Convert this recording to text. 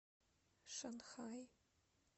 шанхай